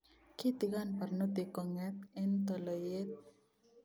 Kiitigon barnotiik konget en toloiyet